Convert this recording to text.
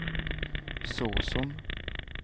såsom